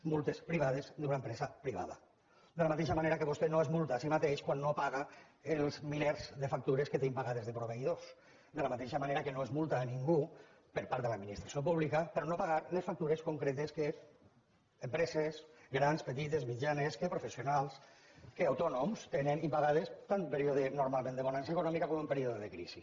multes privades d’una empresa privada de la mateixa manera que vostè no es multa a si mateix quan no paga els milers de factures que té impagades de proveïdors de la mateixa manera que l’administració pública no multa ningú per no haver pagat les factures concretes que empreses grans petites mitjanes que professionals que autònoms tenen impagades tant en un període normal de bonança econòmica com en període de crisi